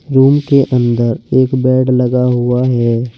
Room के अंदर एक बेड लगा हुआ है।